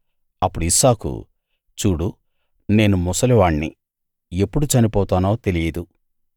అప్పుడు ఇస్సాకు చూడు నేను ముసలివాణ్ణి ఎప్పుడు చనిపోతానో తెలియదు